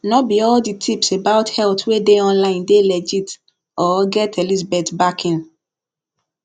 no be all the tips about health wey dey online dey legit or get elizabeth backing